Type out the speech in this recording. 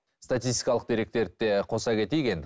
статистикалық деректерді де қоса кетейік енді